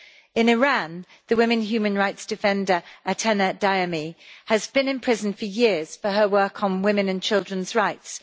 In Iran, the women human rights defender Atena Daemi has been in prison for years for her work on women and children's rights.